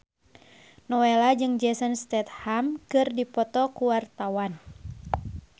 Nowela jeung Jason Statham keur dipoto ku wartawan